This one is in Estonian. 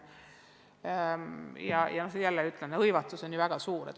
Ja jälle ütlen, et hõivatus on väga suur.